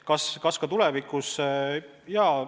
Kas ka tulevikus?